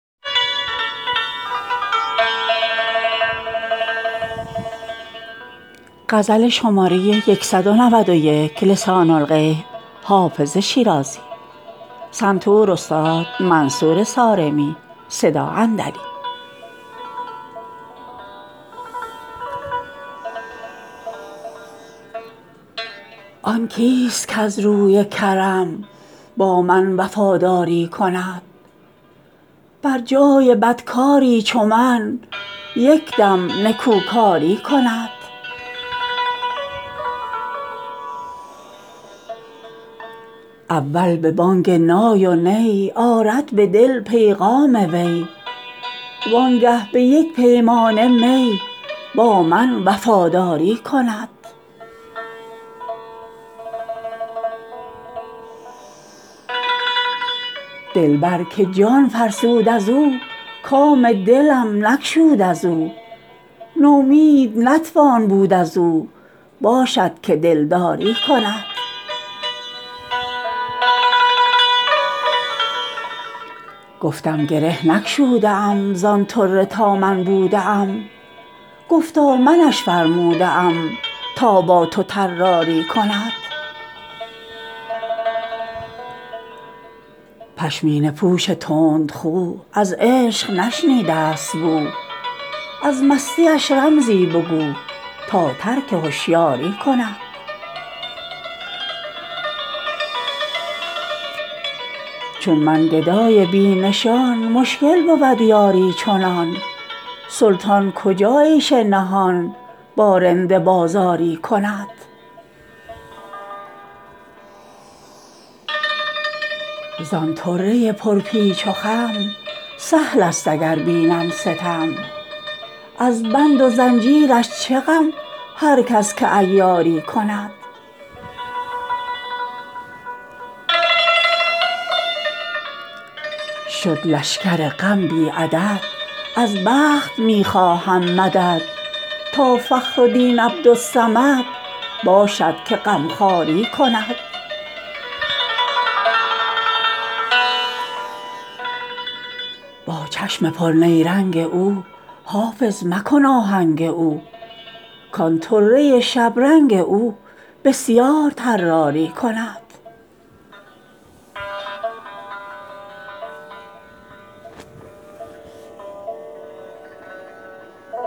آن کیست کز روی کرم با ما وفاداری کند بر جای بدکاری چو من یک دم نکوکاری کند اول به بانگ نای و نی آرد به دل پیغام وی وانگه به یک پیمانه می با من وفاداری کند دلبر که جان فرسود از او کام دلم نگشود از او نومید نتوان بود از او باشد که دلداری کند گفتم گره نگشوده ام زان طره تا من بوده ام گفتا منش فرموده ام تا با تو طراری کند پشمینه پوش تندخو از عشق نشنیده است بو از مستیش رمزی بگو تا ترک هشیاری کند چون من گدای بی نشان مشکل بود یاری چنان سلطان کجا عیش نهان با رند بازاری کند زان طره پرپیچ و خم سهل است اگر بینم ستم از بند و زنجیرش چه غم هر کس که عیاری کند شد لشکر غم بی عدد از بخت می خواهم مدد تا فخر دین عبدالصمد باشد که غمخواری کند با چشم پرنیرنگ او حافظ مکن آهنگ او کان طره شبرنگ او بسیار طراری کند